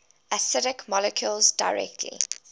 acidic molecules directly